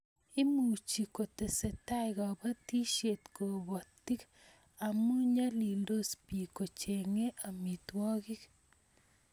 Imuchi kotesetai kobotisiet kobotik amu nyalildos bik kochengei amitwogik